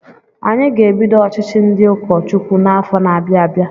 Anyị ga-ebido ọchịchị ndị ụkọ Chukwu n'afọ na-abịa abịa.